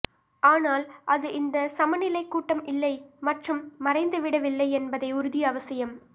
ஆனால் அது இந்த சமநிலை கூட்டம் இல்லை மற்றும் மறைந்துவிடவில்லை என்பதை உறுதி அவசியம்